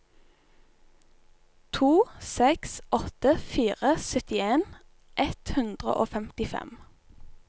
to seks åtte fire syttien ett hundre og femtifem